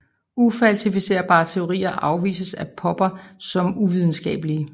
Ufalsificerbare teorier afvises af Popper som uvidenskabelige